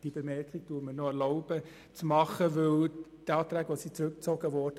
Wir kommen zu den Fraktionsvoten.